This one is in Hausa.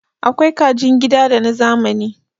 Akwai kajin gida da na zamani